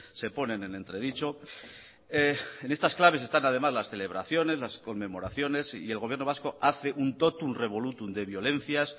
se ponen en entredicho en estas claves están además las celebraciones las conmemoraciones el gobierno vasco hace un totum revolutum de violencias